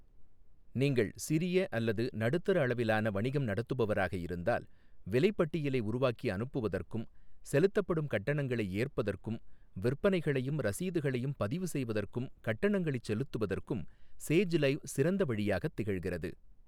நீங்கள் சிறிய அல்லது நடுத்தர அளவிலான வணிகம் நடத்துபவராக இருந்தால், விலைப்பட்டியலை உருவாக்கி அனுப்புவதற்கும், செலுத்தப்படும் கட்டணங்களை ஏற்பதற்கும், விற்பனைகளையும் ரசீதுகளையும் பதிவுசெய்வதற்கும் கட்டணங்களைச் செலுத்துவதற்கும் சேஜ் லைவ் சிறந்த வழியாகத் திகழ்கிறது.